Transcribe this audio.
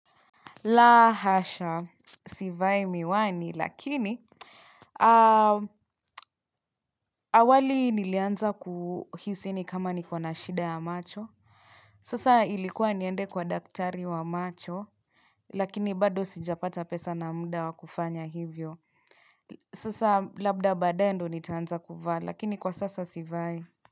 La hasha, sivai miwani, lakini awali nilianza kuhisini kama nikona shida ya macho. Sasa ilikuwa niende kwa daktari wa macho, lakini bado sijapata pesa na muda wakufanya hivyo. Sasa labda badae ndo nitaanza kuvaa, lakini kwa sasa sivai.